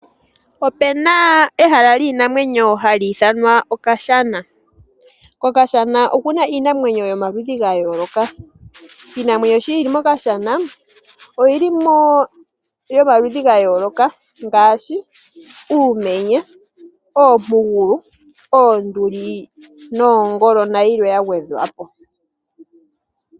Opu na ehala lyiinamwenyo hali ithanwa Okashana. KOkashana oku na iinamwenyo yomaludhi ga yooloka. Iinamwenyo sho yi li mOkashana, oyi li mo yomaludhi ga yooloka ngaashi uumenye, oompugulu, oonduli, noongolo nayilwe ya gwedhwa po.